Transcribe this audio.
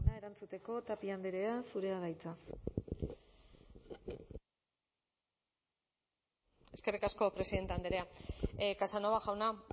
erantzuteko tapia andrea zurea da hitza eskerrik asko presidente andrea casanova jauna